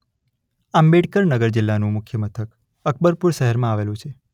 આંબેડકર નગર જિલ્લાનું મુખ્ય મથક અકબરપુર શહેરમાં આવેલું છે.